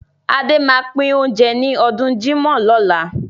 Adé máa pín oúnjẹ ní ọdún jímọ̀ lọ́la.